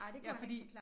Ja fordi